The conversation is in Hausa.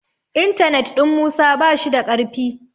intanet ɗin Musa ba shi da karfi